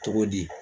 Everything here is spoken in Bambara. Cogo di